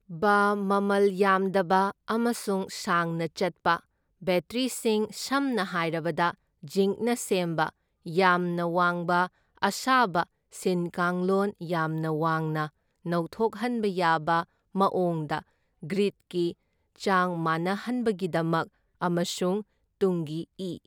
ꯕ ꯃꯃꯜ ꯌꯥꯝꯗꯕ ꯑꯃꯁꯨꯡ ꯁꯥꯡꯅ ꯆꯠꯄ ꯕꯦꯇ꯭ꯔꯤꯁꯤꯡ ꯁꯝꯅ ꯍꯥꯏꯔꯕꯗ ꯖꯤꯟꯛꯅ ꯁꯦꯝꯕ, ꯌꯥꯝꯅ ꯋꯥꯡꯕ ꯑꯁꯥꯕ ꯁꯤꯟꯀꯥꯡꯂꯣꯟ ꯌꯥꯝꯅ ꯋꯥꯡꯅ ꯅꯧꯊꯣꯛꯍꯟꯕ ꯌꯥꯕ ꯃꯥꯑꯣꯡꯗ ꯒ꯭ꯔꯤꯗ ꯀꯤ ꯆꯥꯡ ꯃꯥꯅꯍꯟꯕꯒꯤꯗꯃꯛ ꯑꯃꯁꯨꯡ ꯇꯨꯡꯒꯤ ꯏꯤ.